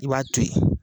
I b'a to ye